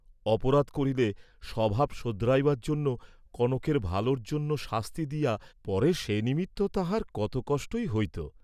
অপরাধ করিলে স্বভাব শােধরাইবার জন্য, কনকের ভালর জন্য শাস্তি দিয়া, পরে সে নিমিত্ত তাঁহার কত কষ্টই হইত।